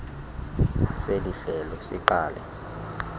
seli hlelo siqale